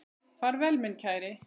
Far vel minn kæri.